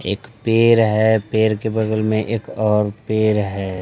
एक पेर है पेर के बगल में एक और पेर है।